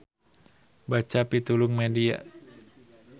Baca pitulung media.